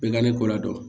Bɛɛ ka ne kɔ la dɔn